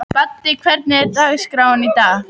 Baddi, hvernig er dagskráin í dag?